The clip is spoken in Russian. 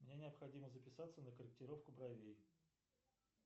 мне необходимо записаться на корректировку бровей